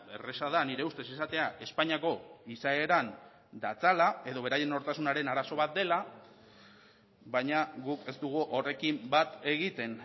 erraza da nire ustez esatea espainiako izaeran datzala edo beraien nortasunaren arazo bat dela baina guk ez dugu horrekin bat egiten